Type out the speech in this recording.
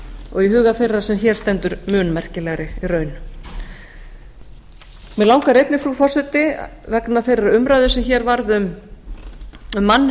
og í huga þeirrar sem hér stendur mun merkilegri í raun mig langar einnig frú forseti vegna þeirrar umræðu sem hér varð um